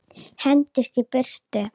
Hendist í burtu.